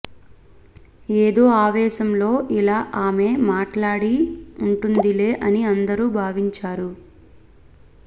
ఏదో ఆవేశంలో ఇలా ఆమె మాట్లాడి ఉంటుందిలే అని అందరూ భావించారు